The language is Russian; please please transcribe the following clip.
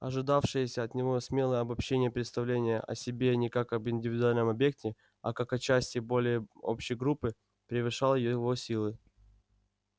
ожидавшееся от него смелое обобщение-представление о себе не как об индивидуальном объекте а как о части более общей группы превышало его силы